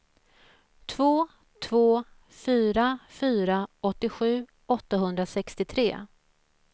två två fyra fyra åttiosju åttahundrasextiotre